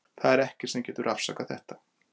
Það er ekkert sem getur afsakað þetta.